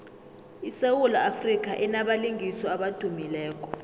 isewula afrika inabalingiswa abadumileko